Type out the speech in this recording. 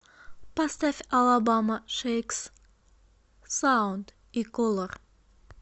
поставь алабама шейкс саунд и колор